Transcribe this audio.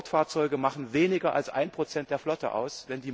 Sportfahrzeuge machen weniger als 1 der Flotte aus.